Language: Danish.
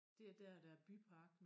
Det er dér der er bypark nu